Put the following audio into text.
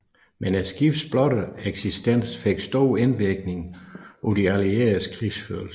Men skibets blotte eksistens fik stor indvirkning på de allieredes krigsførelse